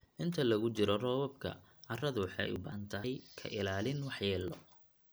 Inta lagu jiro roobabka, carradu waxay u baahan tahay ka ilaalin waxyeello.